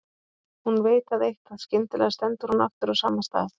Hún veit það eitt að skyndilega stendur hún aftur á sama stað.